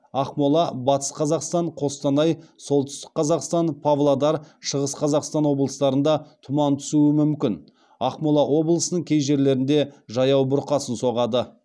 ақмола батыс қазақстан қостанай солтүстік қазақстан павлодар шығыс қазақстан облыстарында тұман түсуі мүмкін ақмола облысының кей жерлерінде жаяу бұрқасын соғады